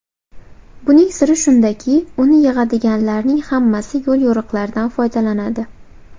Buning siri shundaki, uni yig‘adiganlarning hammasi yo‘l-yo‘riqlardan foydalanadi.